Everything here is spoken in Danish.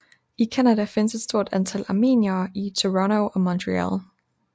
I Canada findes et stort antal armeniere i Toronto og Montreal